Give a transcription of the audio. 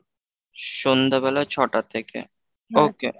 সন্ধ্যেবেলা ছটা থেকে okay।